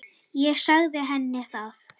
Ég sagði henni það.